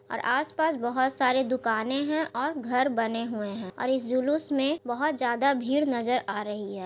और आस-पास बहोत सारे दुकानें हैं और घर बने हुए हैं और इस जुलुस में बहोत ज्यादा भीड़ नज़र आ रही है।